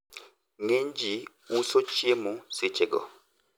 watu wengi huuza vyakula wakati huo